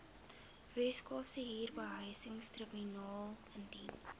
weskaapse huurbehuisingstribunaal indien